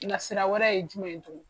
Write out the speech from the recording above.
Nasira wɛrɛ ye jumɛn ye tugun ?